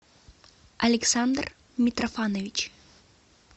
александр митрофанович